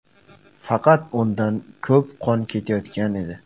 Faqat undan ko‘p qon ketayotgan edi.